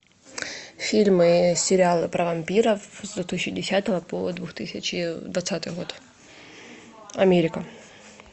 фильмы и сериалы про вампиров с две тысячи десятого по две тысячи двадцатый год америка